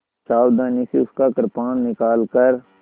सावधानी से उसका कृपाण निकालकर